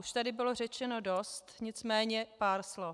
Už tady bylo řečeno dost, nicméně pár slov.